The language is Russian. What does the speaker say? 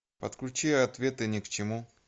подключи ответы ни к чему